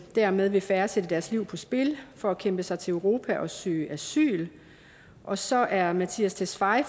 dermed vil færre sætte deres liv på spil for at kæmpe sig til europa og søge asyl og så er herre mattias tesfaye